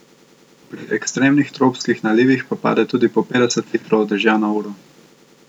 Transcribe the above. Pri ekstremnih tropskih nalivih pa pade tudi po petdeset litrov dežja na uro.